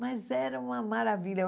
Mas era uma maravilha.